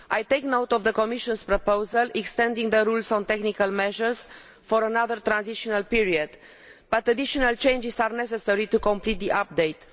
I take note of the Commission's proposal extending the rules on technical measures for another transitional period, but additional changes are necessary to complete the update.